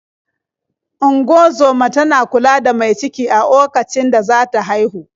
Ungozoma tana kula da mai ciki a okacin da za ta haihu.